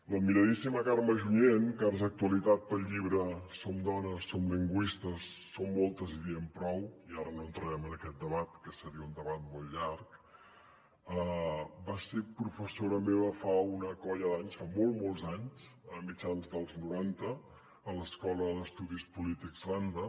l’admiradíssima carme junyent que ara és actualitat pel llibre som dones som lingüistes som moltes i diem prou i ara no entrarem en aquest debat que seria un debat molt llarg va ser professora meva fa una colla d’anys fa molts molts anys a mitjans dels noranta a l’escola d’estudis polítics randa